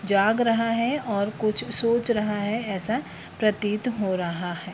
जाग रहा है और कुछ सोच रहा है ऐसा प्रतीत हो रहा है।